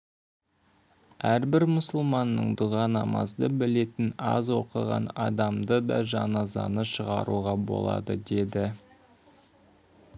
әрбір мұсылманның дұға намазды білетін аз оқыған адамы да жаназаны шығаруға болады деді